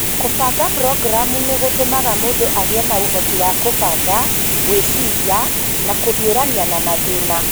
Kũbanga programu nĩ gũtũmaga mũndũ agĩe na ũhoti wa kũbanga, gwĩciria, na kũhiũrania na mathĩna